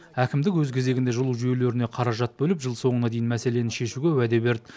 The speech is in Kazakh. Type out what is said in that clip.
әкімдік өз кезегінде жылу жүйелеріне қаражат бөліп жыл соңына дейін мәселені шешуге уәде берді